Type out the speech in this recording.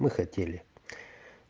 мы хотели